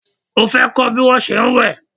O fẹ́ kọ́ bí wón se ń wẹ̀?